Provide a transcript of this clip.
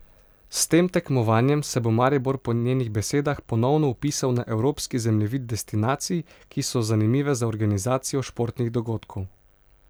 S tem tekmovanjem se bo Maribor po njenih besedah ponovno vpisal na evropski zemljevid destinacij, ki so zanimive za organizacijo športnih dogodkov.